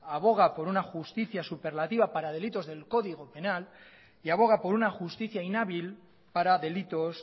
aboga por una justicia superlativa para delitos del código penal y aboga por una justicia inhábil para delitos